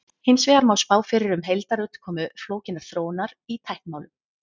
hins vegar má spá fyrir um heildarútkomu flókinnar þróunar í tæknimálum